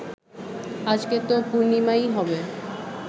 আজকে তো পূর্ণিমাই হবে